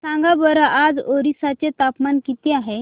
सांगा बरं आज ओरिसा चे तापमान किती आहे